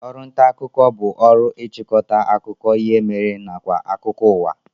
Oru nta akuko bu oru ichikota akuko ihe mere nakwa akuko uwa